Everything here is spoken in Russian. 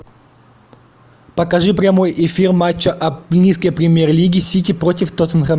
покажи прямой эфир матча английской премьер лиги сити против тоттенхэм